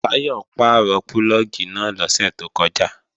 Táyọ̀ pàrọ̀ púlọ̀gì náà lọ́sẹ̀ tó kọjá